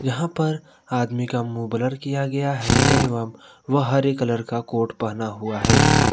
यहां पर आदमी का मुंह ब्लर किया गया है एवं वह हरे कलर का कोट पहना हुआ है।